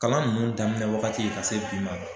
Kalan nunnu daminɛ wagati ka se bi ma.